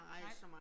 Nej